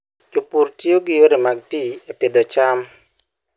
Jopur tiyo gi yore mag pi e pidho cham.